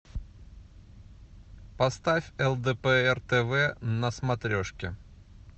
поставь лдпр тв на смотрешки